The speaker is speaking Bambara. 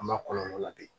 An b'a kɔlɔlɔ la bi